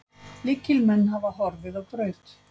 Lykilmenn hafa horfið á braut.